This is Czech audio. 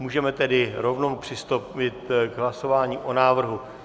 Můžeme tedy rovnou přistoupit k hlasování o návrhu.